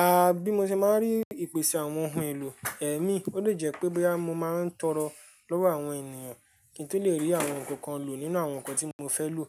A, bí mo ṣe máa ń rí ìpèsè àwọn ohun èlò ẹ̀mí, ó le jẹ́ pé báyìí mo máa ń tọrọ lọ́wọ́ àwọn ènìyàn kí n tó le rí àwọn nǹkan kan lò nínú àwọn nǹkan tí mo fẹ́ lò.